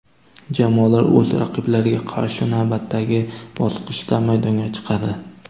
Jamoalar o‘z raqiblariga qarshi navbatdagi bosqichda maydonga chiqadi.